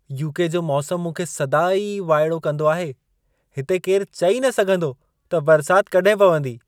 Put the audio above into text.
UK. जो मौसमु मूंखे सदाईं वाइड़ो कंदो आहे ! हिते केरु चई न सघंदो, त बरसात कॾहिं पवंदी।